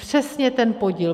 Přesně ten podíl.